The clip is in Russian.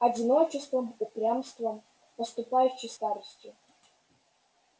одиночеством упрямством подступающей старостью